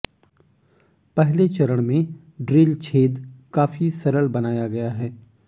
पहले चरण में ड्रिल छेद काफी सरल बनाया गया है